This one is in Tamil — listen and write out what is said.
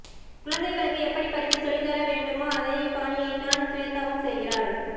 குழந்தைகளுக்கு எப்படி படிப்பு சொல்ல தர வேண்டுமோ அதே பாணியைதான் ஸ்வேதாவும் செய்கிறார்